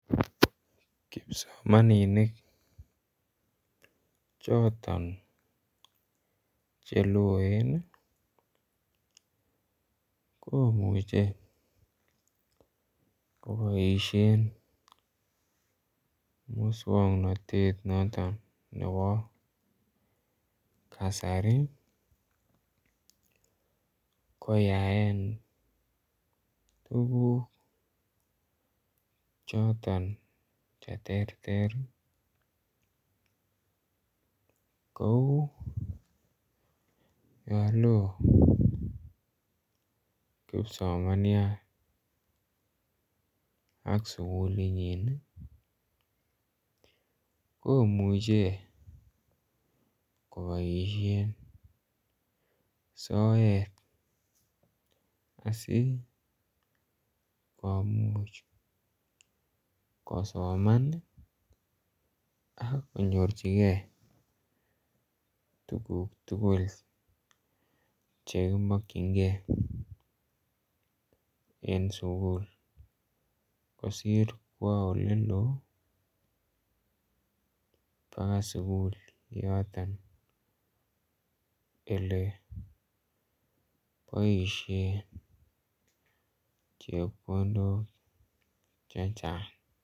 Kipsomaninik choton Che loen komuche koboisien moswoknatet noton nebo kasari koyaen tuguk choton Che terter kou yon loo kipsomanyat ak sukulinyin komuche koboisien soet asi komuch kosoman ak konyorchigei tuguk tugul Che ki mokyingei en sukul kosir kwo oleloo bakoi sukul yoton Ole boisien chepkondok chechang